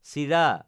চিৰা